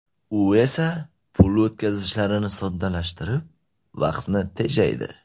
U esa pul o‘tkazishlarini soddalashtirib, vaqtni tejaydi.